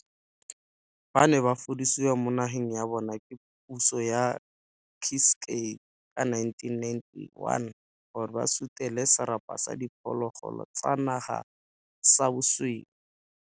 Ba ne ba fudusiwa mo nageng ya bona ke puso ya Ciskei ka 1991, gore ba sutele serapa sa diphologolo tsa naga sa basweu.